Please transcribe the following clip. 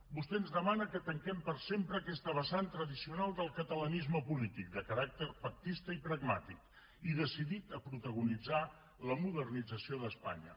vostè ens demana que tanquem per sempre aquesta vessant tradicional del catalanisme polític de caràcter pactista i pragmàtic i decidit a protagonitzar la modernització d’espanya